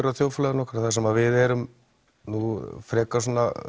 í þjóðfélaginu okkar þar sem við erum frekar